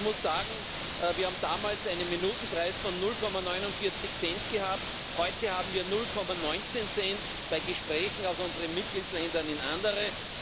Ich muss sagen Wir haben damals einen Minutenpreis von 0,49 Cent gehabt, heute haben wir 0,19 Cent bei Gesprächen aus unseren Mitgliedstaaten in andere.